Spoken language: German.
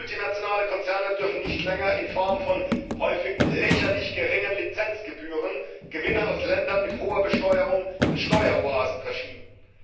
Multinationale Konzerne dürfen nicht länger in Form von häufig lächerlich geringen Lizenzgebühren Gewinne aus Ländern mit hoher Besteuerung in Steueroasen verschieben.